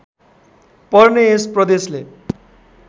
पर्ने यस प्रदेशले